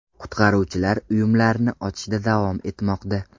Qutqaruvchilar uyumlarni ochishda davom etmoqda.